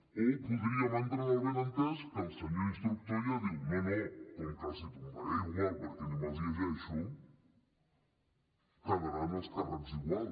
o podríem entrar en el benentès que el senyor instructor ja diu no no com que els hi tombaré igual perquè ni me’ls llegeixo quedaran els càrrecs igual